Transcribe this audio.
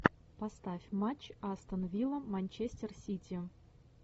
поставь матч астон вилла манчестер сити